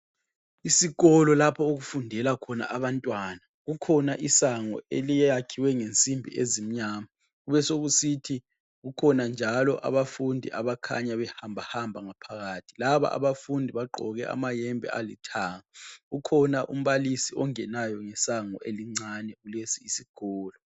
Isikolo lapho okufundela khona abantwana. Kukhona isango eliyakhiwe ngensimbi ezimnyama kubesokusithi kukhona njalo abafundi abakhanya behambahamba ngaphakathi. Laba abafundi bagqoke amayembe alithanga. Ukhona umbalisi ongenayo ngesango elincane kulesi isikolo.